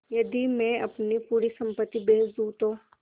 यदि मैं अपनी पूरी सम्पति बेच दूँ तो